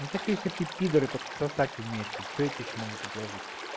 ну так если ты пидор и только сосать умеешь то что я тебе ещё могу предложить